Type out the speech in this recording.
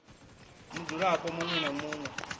mudzulapo muṋwe na muṋwe u